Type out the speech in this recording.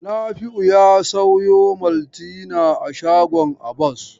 Nafi'u ya sayo Malta a shagon Abba.